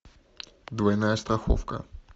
двойная страховка